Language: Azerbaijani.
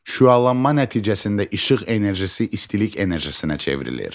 Şüalanma nəticəsində işıq enerjisi istilik enerjisinə çevrilir.